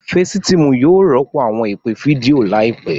Fecitiimu yóò rọpo awọn ipe fidio laipẹ.